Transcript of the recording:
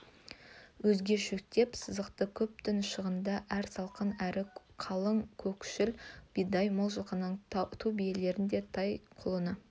өзге шөктеп сызаты көп түн шағында әрі салқын әрі қалың көкшіл бидай мол жылқының ту биелерін де тай-құлыны